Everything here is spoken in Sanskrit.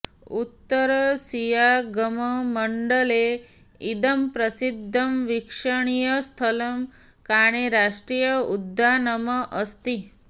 उत्तरसियाङ्गमण्डले इदं प्रसिद्धं वीक्षणीयस्थलम् काणे राष्ट्रीय उद्यानम् अस्ति